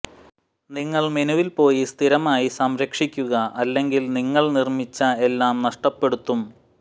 നിങ്ങൾ മെനുവിൽ പോയി സ്ഥിരമായി സംരക്ഷിക്കുക അല്ലെങ്കിൽ നിങ്ങൾ നിർമ്മിച്ച എല്ലാം നഷ്ടപ്പെടുത്തും